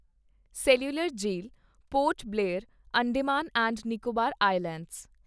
cellular Jail Port Blair, Andaman and Nicobar islands